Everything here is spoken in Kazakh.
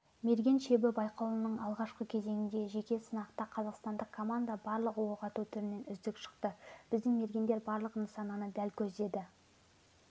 мерген шебі байқауының алғашқы кезеңіндегі жеке сынақта қазақстандық команда барлық оқ ату түрінен үздік шықты біздің мергендер барлық нысананы дәл көздеді